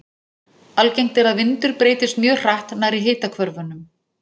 Algengt er að vindur breytist mjög hratt nærri hitahvörfunum.